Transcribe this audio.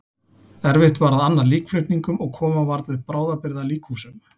Erfitt var að anna líkflutningum og koma varð upp bráðabirgða líkhúsum.